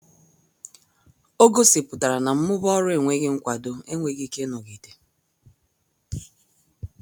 Ọ gosipụtara na mmụba ọrụ enweghị nkwado enweghị ike ịnọgide.